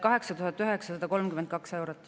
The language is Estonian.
8932 eurot.